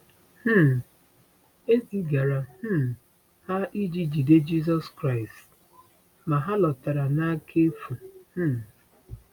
um E zigara um ha iji jide Jizọs Kraịst, ma ha lọtara n’aka n’efu. um